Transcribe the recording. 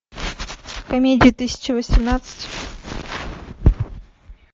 комедия тысяча восемнадцать